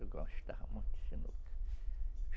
Eu gostava muito de sinuca.